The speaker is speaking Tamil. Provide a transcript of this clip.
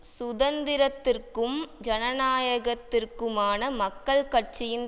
சுதந்திரத்திற்கும் ஜனநாயகத்திற்குமான மக்கள் கட்சியின்